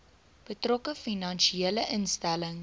betrokke finansiële instelling